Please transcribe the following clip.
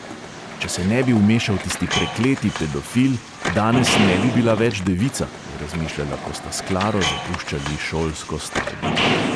Če se ne bi vmešal tisti prekleti pedofil, danes ne bi bila več devica, je razmišljala, ko sta s klaro zapuščali šolsko stavbo.